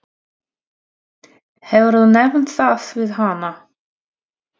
Hefurðu nefnt það við hana?